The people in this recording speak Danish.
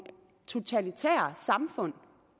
totalitære samfund